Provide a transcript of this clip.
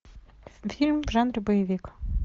фильм в жанре боевик